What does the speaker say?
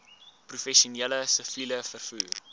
professioneel siviel vervoer